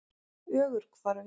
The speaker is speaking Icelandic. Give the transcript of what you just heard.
Ögurhvarfi